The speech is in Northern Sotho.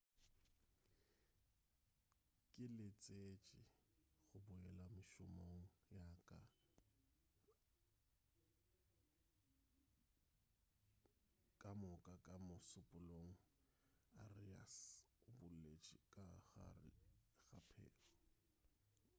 ke letsetše go boela mešomong yaka ka moka ka mošupulogo arias o boletše ka gare ga pego